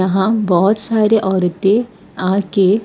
यहां बहुत सारे औरतें आ के--